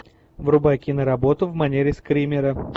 врубай киноработу в манере скримера